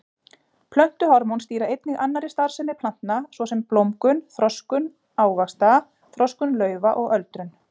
Plöntuhormón stýra einnig annarri starfsemi plantna svo sem blómgun, þroskun ávaxta, þroskun laufa og öldrun.